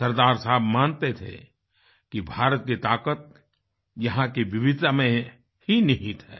सरदार साहब मानते थे कि भारत की ताकत यहाँ की विविधता में ही निहित है